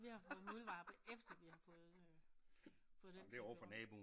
Vi har fået muldvarpe efter vi har fået øh fået den til at køre rundt